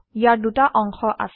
ইয়াৰ দুটা অংশ আছে